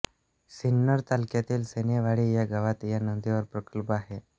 सिन्नर तालुक्यातील सोनेवाडी या गावात या नदीवर प्रकल्प आहे